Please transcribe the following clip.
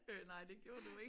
Øh nej det gjorde du ik